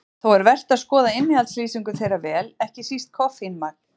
Þó er vert að skoða innihaldslýsingu þeirra vel, ekki síst koffínmagn.